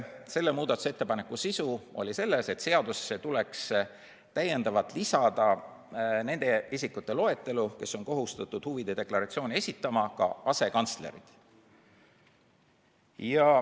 Selle sisu oli selles, et seadusesse tuleks täiendavalt lisada nende isikute loetelu, kes on kohustatud huvide deklaratsiooni esitama, ka asekantslerid.